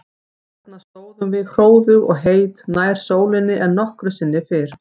Þarna stóðum við hróðug og heit, nær sólinni en nokkru sinni fyrr.